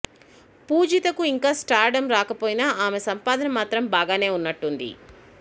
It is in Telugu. పూజితకు ఇంకా స్టార్ డమ్ రాకపోయినా ఆమె సంపాదన మాత్రం బాగానే ఉన్నట్టుంది